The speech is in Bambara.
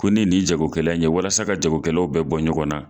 Ko ne ye nin jago kɛla in ye walasa ka jago kɛlaw bɛɛ bɔ ɲɔgɔn na.